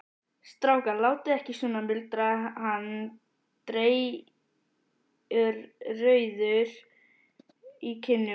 Strákar, látið ekki svona muldraði hann dreyrrauður í kinnum.